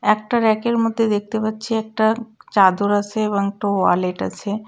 একটা রাকের মধ্যে দেখতে পাচ্ছি একটা চাদর আছে এবং একটা ওয়ালেট আছে।